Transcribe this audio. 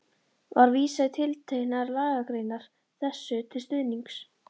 Var vísað í tilteknar lagagreinar þessu til stuðnings.